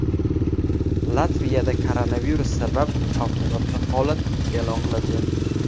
Latviyada koronavirus sabab favqulodda holat e’lon qilindi.